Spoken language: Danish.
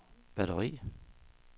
batteri